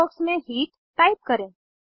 हरे box में heat type करें